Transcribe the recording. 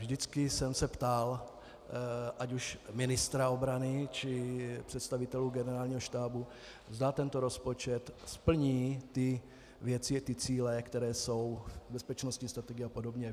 Vždycky jsem se ptal ať už ministra obrany, či představitelů Generálního štábu, zda tento rozpočet splní ty věci a cíle, které jsou bezpečnostní strategií a podobně.